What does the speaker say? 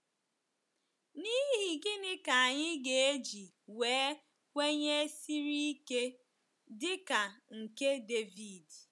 N’ihi gịnị ka anyị ga-eji nwee nkwenye siri ike dị ka nke David?